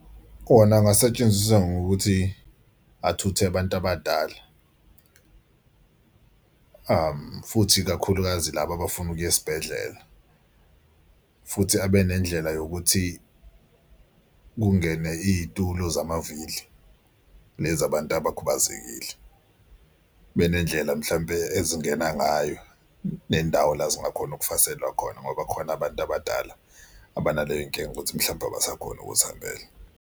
Kona angasetshenziswa ngokuthi athuthe abantu abadala futhi ikakhulukazi laba abafuna ukuya esibhedlela, futhi abe nendlela yokuthi kungene iy'tulo zamavili lezi zabantu abakhubazekile. Benendlela mhlawumpe ezingena ngayo nendawo la zingakhona ukufaselwa khona ngoba khona abantu abadala abanaleyo nkinga ukuthi mhlawumbe abasakhoni ukuzihambela.